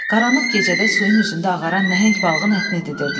Qaranlıq gecədə suyun üzündə ağaran nəhəng balığın ətini didirdilər.